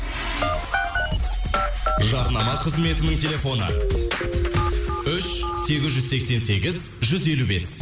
жарнама қызметінің телефоны үш сегіз жүз сексен сегіз жүз елу бес